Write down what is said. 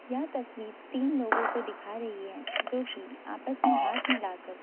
यह तस्वीर तीन लोगों को दिखा रही है जो कि आपस में हाथ मिलाकर--